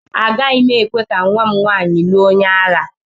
Agaghị m ekwe ka nwa m nwaanyị lụọ onye agha.